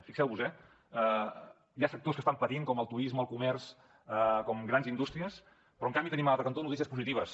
fixeu vos eh hi ha sectors que estan patint com el turisme el comerç com grans indústries però en canvi tenim a l’altre cantó notícies positives